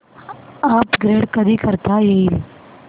upgrade कधी करता येईल